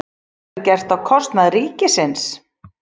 Þetta verður gert á kostnað ríkisins